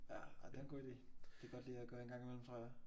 Ja ej det er en god idé. Det er godt lige at gøre en gang i mellem tror jeg